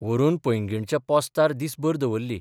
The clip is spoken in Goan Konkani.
व्हरून पँगीणच्या पॉस्तार दिसभर दवरली.